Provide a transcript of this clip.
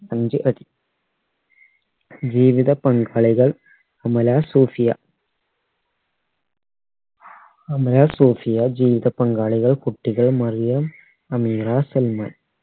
അഞ്ചടി ജീവിത പങ്കാളികൾ അമല സൂഫിയ അമല സൂഫിയ ജീവിത പങ്കാളികൾ കുട്ടികൾ മറിയം അമീത സൽമാൻ